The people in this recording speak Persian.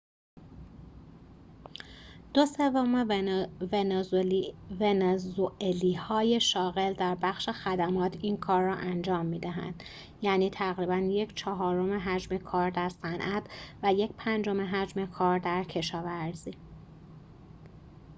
دو سوم ونزوئلایی‌های شاغل در بخش خدمات این کار را انجام می‌دهند یعنی تقریباً یک‌چهارم حجم کار در صنعت و یک‌پنجم حجم کار در کشاورزی